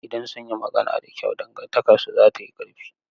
Idan sun yi magana da kyau, dangantakarsu za ta yi ƙarfi.